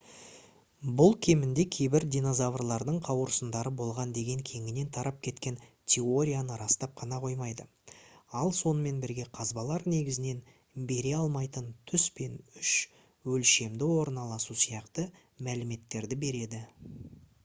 бұл кемінде кейбір динозаврлардың қауырсындары болған деген кеңінен тарап кеткен теорияны растап қана қоймайды ал сонымен бірге қазбалар негізінен бере алмайтын түс пен үш өлшемді орналасу сияқты мәліметтерді береді